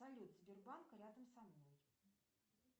салют сбербанк рядом со мной